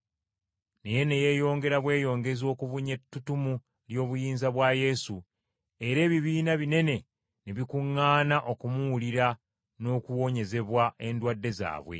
Naye ne yeeyongera bweyongezi okubunya ettutumu ly’obuyinza bwa Yesu era ebibiina binene ne bikuŋŋaana okumuwulira n’okuwonyezebwa endwadde zaabwe.